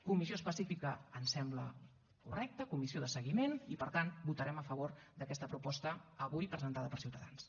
comissió específica ens sembla correcte comissió de seguiment i per tant votarem a favor d’aquesta proposta avui presentada per ciutadans